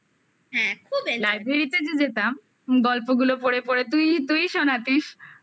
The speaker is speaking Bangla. library তে যে যেতাম গল্পগুলো পড়ে পড়ে তুই ই শোনাতিস হুম